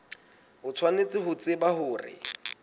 o tshwanetse ho tseba hore